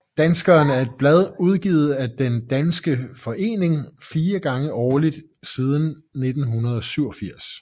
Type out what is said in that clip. Danskeren er et blad udgivet af den Den Danske Forening fire gange årligt siden 1987